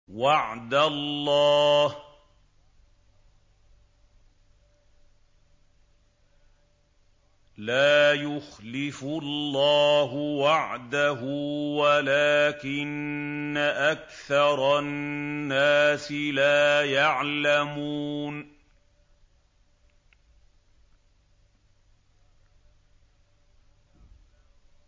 وَعْدَ اللَّهِ ۖ لَا يُخْلِفُ اللَّهُ وَعْدَهُ وَلَٰكِنَّ أَكْثَرَ النَّاسِ لَا يَعْلَمُونَ